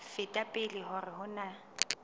feta pele hore ho na